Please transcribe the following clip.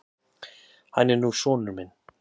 Hann er nú sonur minn.